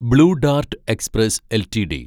blue Dart Express LTD